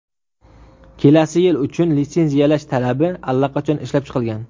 Kelasi yil uchun litsenziyalash talabi allaqachon ishlab chiqilgan.